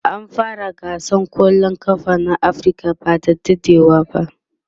an fara gasar kwallan kafa na Africa by da dadewa